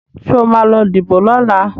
Sọ ma lọ díbò lọ́la?